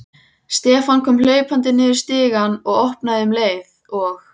Stefán kom hlaupandi niður stigann og opnaði um leið og